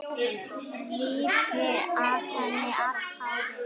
Rífi af henni allt hárið.